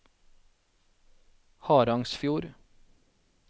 Harangsfjord